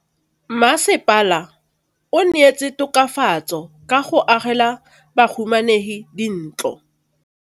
Mmasepala o neetse tokafatsô ka go agela bahumanegi dintlo.